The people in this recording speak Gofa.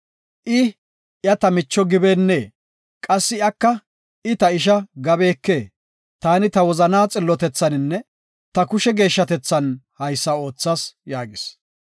I, ‘Iya, ta micho’ gibeennee? Qassi iyaka, ‘I, ta isha’ gabikee? Taani ta wozana xillotethaninne ta kushe geeshshatethan haysa oothas” yaagis.